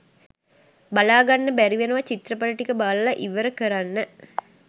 බලාගන්න බැරි වෙච්ච චිත්‍රපටි ටික බලලා ඉවර කරන්න.